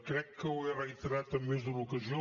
crec que ho he reiterat en més d’una ocasió